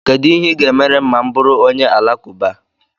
Kedu ihe ị ga-emere m ma M bụrụ onye Alakụba?